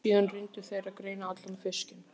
Síðan reyndu þeir að greina allan fiskinn.